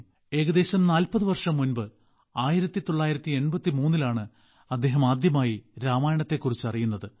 ഏകദേശം 40 വർഷം മുമ്പ് 1983 ലാണ് അദ്ദേഹം ആദ്യമായി രാമായണത്തെക്കുറിച്ച് അറിയുന്നത്